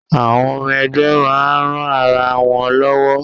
Àwọn ọmọ ẹgbẹ́ máa ń ran ara wọn lọ́wọ́